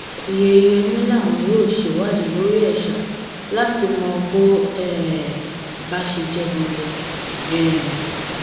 oyeyèmí làwọn yóò ṣèwádìí lórí ẹ ṣá láti mọ bó um bá ṣe jẹ ganan um